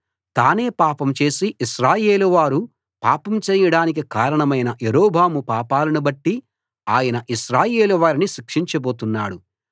తానే పాపం చేసి ఇశ్రాయేలువారు పాపం చేయడానికి కారణమైన యరొబాము పాపాలను బట్టి ఆయన ఇశ్రాయేలు వారిని శిక్షించబోతున్నాడు